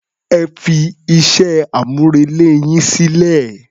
Ẹ fí iṣẹ́-amúrelé yín sílẹ̀.